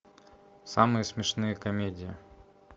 самые смешные комедии